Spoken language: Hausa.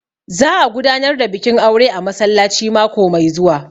Za a gudanar da bikin aure a masallaci mako mai zuwa